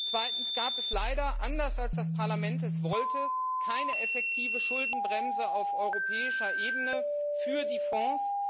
Zweitens gab es leider, anders als das Parlament es wollte, keine effektive Schuldenbremse auf europäischer Ebene für die Fonds.